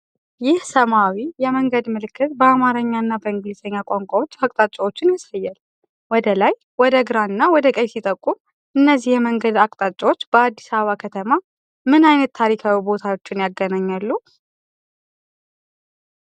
ይህ ሰማያዊ የመንገድ ምልክት በአማርኛ እና በእንግሊዝኛ ቋንቋዎች አቅጣጫዎችን ያሳያል። 'ARAT KILO' ወደ ላይ፣ 'CHURCHILL ROAD' ወደ ግራ፣ እና 'AWARE' ወደ ቀኝ ሲጠቁም። እነዚህ የመንገድ አቅጣጫዎች በአዲስ አበባ ከተማ ምን ዓይነት ታሪካዊ ቦታዎችን ያገናኛሉ?